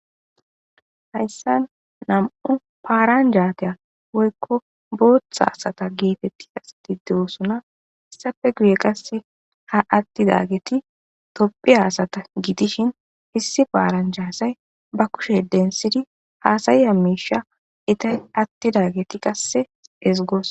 Hayissani namu'u paranjata woyikko botha assa getetediayissati dossona, hssape guye qassi atidageti tophiya assata gidishini iss paranja asayi baa kushe denithidi hasayida misha atidaget qasse ezigosi